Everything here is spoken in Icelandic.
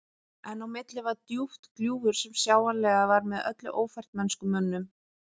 En á milli var djúpt gljúfur sem sjáanlega var með öllu ófært mennskum mönnum.